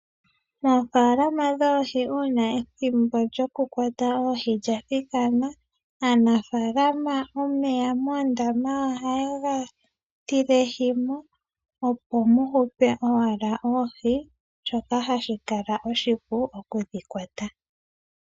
Ofaalama dhoohi uuna ethimbo lyoku kwata oohi lya thikana, aanafaalama omeya moondama ohaye ga tilehimo opo mu hupe owala oohi shoka hashi kala oshipu okudhi kwata